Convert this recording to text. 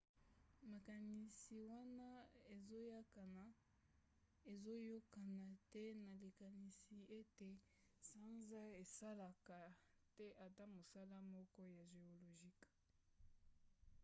makanisi wana ezoyokana te na likanisi ete sanza esalaka te ata mosala moko ya géologique